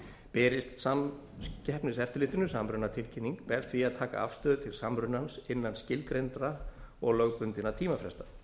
berist samkeppniseftirlitinu samrunatilkynning ber því að taka afstöðu til samrunans innan skilgreindra og lögbundinna tímafresta